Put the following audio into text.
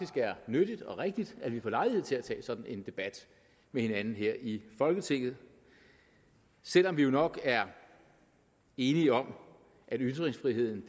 er nyttigt og rigtigt at vi får lejlighed til at tage sådan en debat med hinanden her i folketinget selv om vi jo nok er enige om at ytringsfriheden